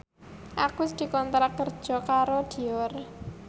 Agus dikontrak kerja karo Dior